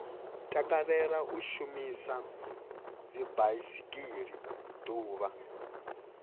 takalela u shumisa dzibaisigila ḓuvha